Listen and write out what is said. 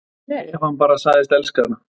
Ef hann bara segðist elska hana